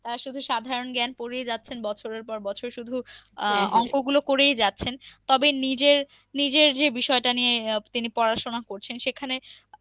আহ তারা শুধু সাধারণ জ্ঞান পরিয়ে যাচ্ছেন। বছরের পর বছর শুধু।, অংক গুলো করেই যাচ্ছেন। তবে নিজের~নিজের যে বিষয়টা নিয়ে তিনি পড়াশোনা করছেন সেখানে,